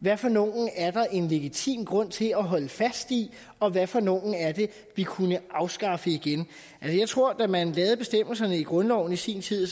hvad for nogle der er en legitim grund til at holde fast i og hvad for nogle vi kunne afskaffe igen jeg tror at da man lavede bestemmelserne i grundloven i sin tid